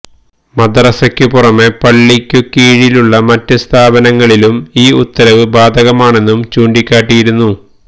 മദ്റസയ്ക്കു പുറമെ പള്ളിയ്ക്കു കീഴിലുള്ള മറ്റ് സ്ഥാപനങ്ങളിലും ഈ ഉത്തരവ് ബാധകമാണെന്നും ചൂണ്ടിക്കാട്ടിയിരുന്നു